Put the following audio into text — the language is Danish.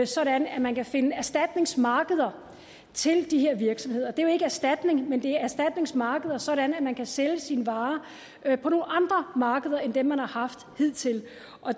sådan at man kan finde erstatningsmarkeder til de her virksomheder det er jo ikke erstatning men det er erstatningsmarkeder sådan at man kan sælge sin vare på nogle andre markeder end dem man har haft hidtil